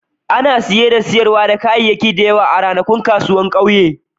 Ana saye da sayar da kayayyaki da yawa a ranakun kasuwa a ƙauyen.